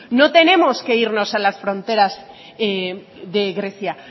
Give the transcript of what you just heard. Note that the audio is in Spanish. no tenemos que irnos a las fronteras de grecia